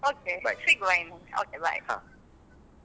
Okay ಸಿಗುವ ಇನ್ಮುಂದೆ okay bye.